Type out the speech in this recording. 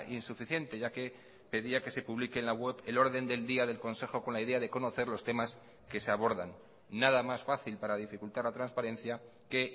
insuficiente ya que pedía que se publique en la web el orden del día del consejo con la idea de conocer los temas que se abordan nada más fácil para dificultar la transparencia que